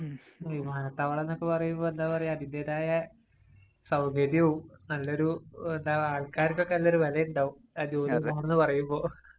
മ്ഹും. വിമാനത്താവളം എന്നൊക്കെ പറയുമ്പോള്‍ എന്താ പറയ്ക. അതിന്‍റേതായ സൗകര്യവും, നല്ലൊരു എന്താ ആള്‍ക്കാര്‍ക്കൊക്കെ നല്ലൊരു വെലയുണ്ടാവും. ആ ജോലി അവിടുന്ന് എന്ന് പറയുമ്പോള്‍.